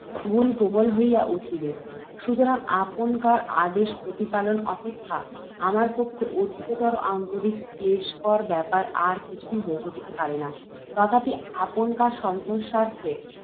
প্রবল হইয়া উঠিবেক। সুতরাং, আপনকার আদেশ প্রতিপালন অপেক্ষা আমার পক্ষে অধিকতর আন্তরিক ক্লেশকর ব্যাপার আর কিছুই ঘটিতে পারে না। তথাপি, আপনকার সন্তোষার্থে,